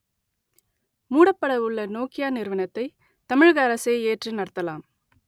மூடப்பட உள்ள நோக்கியா நிறுவனத்தை தமிழக அரசே ஏற்று நடத்தலாம்